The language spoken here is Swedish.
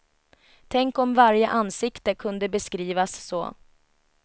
Tänk om varje ansikte kunde beskrivas så.